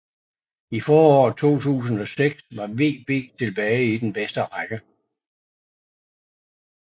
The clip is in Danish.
I foråret 2006 var VB tilbage i den bedste række